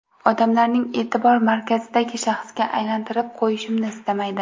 Odamlarning e’tibor markazidagi shaxsga aylanitirib qo‘yishimni istamaydi.